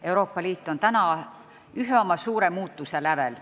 Euroopa Liit on ühe suure muutuse lävel.